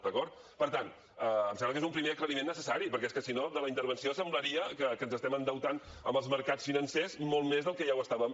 d’acord per tant em sembla que és un primer aclariment necessari perquè és que si no de la intervenció semblaria que ens estem endeutant amb els mercats financers molt més del que ja ho estàvem